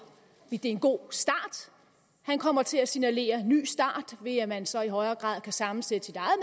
en god start han kommer til at signalere en ny start ved at man så i højere grad kan sammensætte sit eget